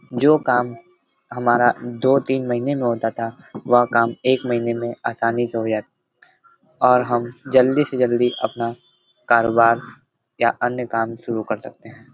जो काम हमारा दो तीन महीने में होता था वह काम एक महीने में आसानी से हो जात और हम जल्दी से जल्दी अपना कारोबार या अपना अन्य काम शुरू कर सकते हैं।